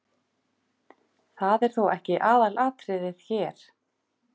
Það er þó ekki aðalatriðið hér.